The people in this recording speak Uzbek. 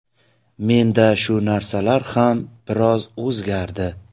Menda shu narsalar ham biroz o‘zgardi”.